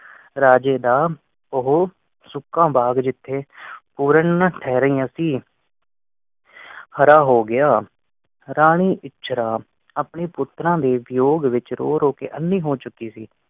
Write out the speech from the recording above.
ਰਾਜੇ ਦਾ ਉਹ ਸੁੱਕਾ ਬਾਗ਼ ਜਿੱਥੇ ਪੂਰਨ ਠਹਿਰਾਇਆ ਸੀ, ਹਰਾ ਹੋ ਗਿਆ। ਰਾਣੀ ਇਚਰਾ ਆਪਣੇ ਪੁੱਤਰਾਂ ਦੇ ਵਿਯੋਗ ਵਿਚ ਰੋ ਰੋ ਕ ਅੰਨੀ ਹੋ ਚੁਕੀ ਸੀ।